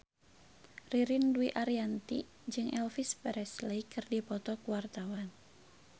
Ririn Dwi Ariyanti jeung Elvis Presley keur dipoto ku wartawan